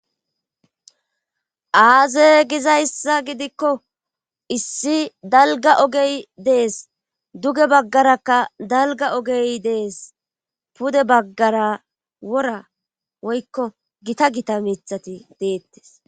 aaze gizayssa gidikko issi dalga ogey dees duge baggarakka dalga ogey dees pude baggara wora woykko gita gita mithati deettes